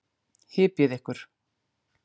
Hypjið ykkur.